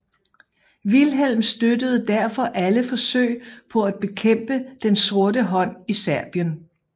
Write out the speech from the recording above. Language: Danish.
Wilhelm støttede derfor alle forsøg på at bekæmpe Den sorte hånd i Serbien